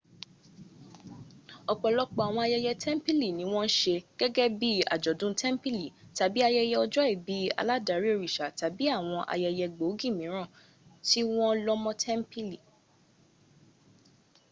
ọ̀pọ̀lọpọ àwọn ayẹyẹ tẹ̀ḿpìlì ni wọ́n ń se gẹ́gẹ́ bí i àjọ̀dú tẹ́m̀pìlì tàbí ayẹyẹ ọjọ́ ìbí aládarí òriṣà tàbí àwọn ayẹyẹ gbòógì míràn tí wọ́n lọ́ mọ́ tẹ́ḿpìlì